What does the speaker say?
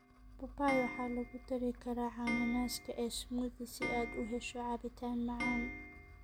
Papaya waxaa lagu dari karaa cananaaska ee smoothie si aad u hesho cabitaan macaan.